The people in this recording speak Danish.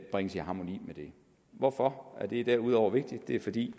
bringes i harmoni med det hvorfor er det derudover vigtigt det er fordi